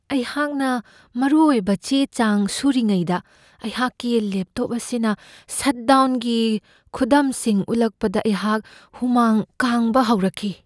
ꯑꯩꯍꯥꯛꯅ ꯃꯔꯨꯑꯣꯏꯕ ꯆꯦ ꯆꯥꯡ ꯁꯨꯔꯤꯉꯩꯗ ꯑꯩꯍꯥꯛꯀꯤ ꯂꯦꯞꯇꯣꯞ ꯑꯁꯤꯅ ꯁꯠ ꯗꯥꯎꯟꯒꯤ ꯈꯨꯗꯝꯁꯤꯡ ꯎꯠꯂꯛꯄꯗ ꯑꯩꯍꯥꯛ ꯍꯨꯃꯥꯡ ꯀꯥꯡꯕ ꯍꯣꯔꯛꯈꯤ꯫